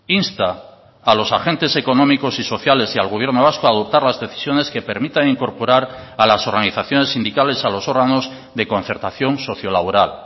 insta a los agentes económicos y sociales y al gobierno vasco a adoptar las decisiones que permitan incorporar a las organizaciones sindicales a los órganos de concertación socio laboral